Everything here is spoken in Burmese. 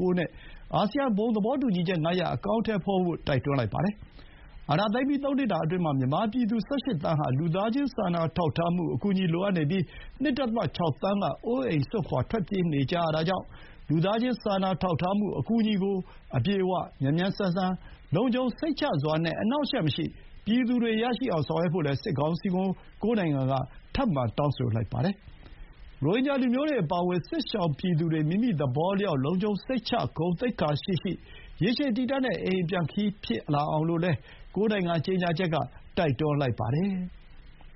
၉ နဲ့ အာဆီယံ ဘုံသဘောတူညီချက် ၅ ရပ် အကောင်အထည်ဖော်ဖို့ တိုက်တွန်းလိုက်ပါတယ်။ အာဏာသိမ်းပြီး သုံးနှစ်တာအတွင်းမှာ မြန်မာပြည်သူ ၁၈ သန်း ဟာ လူသားချင်းစာနာထောက်ထားမှု အကူအညီ လိုအပ်နေပြီး၊ ၂.၆ သန်းက အိုးအိမ်စွန့်ခွါထွက်ပြေးနေကြရတာကြောင့် လူသားချင်းစာထောက်ထားမှု အကူအညီကို အပြည့်အဝ၊ မြန်မြန်ဆန်ဆန်၊ လုံခြုံစိတ်ချစွာနဲ့ အနှောင့်အယှက်မရှိ ပြည်သူတွေ ရရှိအောင် ဆောင်ရွက်ဖို့လည်း စစ်ကောင်စီကို ၉ နိုင်ငံက ထပ်မံတောင်းဆိုလိုက်ကြပါတယ်။ ရိုဟင်ဂျာတွေ အပါအဝင် စစ်ရှောင်ပြည်သူတွေ မိမိသဘောအလျောက်၊ လုံခြုံစိတ်ချ၊ ဂုဏ်သိက္ခာရှိရှိ၊ ရေရှည်တည်တံ့တဲ့ အိမ်အပြန်ခရီး ဖြစ်ပေါ်လာဖို့လည်း ၉ နိုင်ငံ ကြေညာချက်က တိုက်တွန်းလိုက်ပါတယ်။